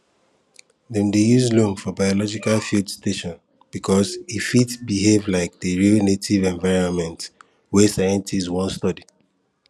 dem dey use loam for biological field station because e fit behave like the real native environment wey scientists wan study